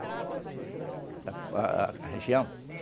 A a região? É.